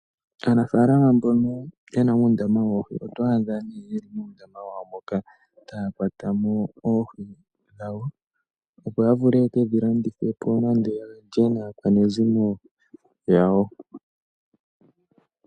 Aanafaalama mbono ye na uundama woohi oto adha ne ye li muundama wawo moka, taya kwata mo oohi dhawo, opo ya vule yeke dhi landithe po, nande ya lye naakwanezimo yawo.